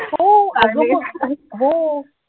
हो! अंग म हो